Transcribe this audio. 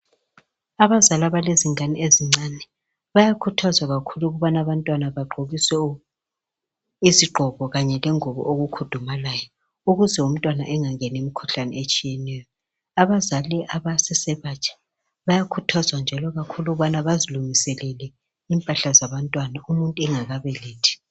Abazali abalezingane ezincane bayakhuthazwa kakhulu ukubana abantwana bagqokiswe izigqoko kanye lengubo okukhudumalayo ukuze umntwana engangenwa ngumkhuhlane etshiyeneyo, bayakhuthazwa njalo ukulungisa impahla zabantwana bengakabelethi.